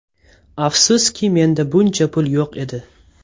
Afsuski menda buncha pul yo‘q edi.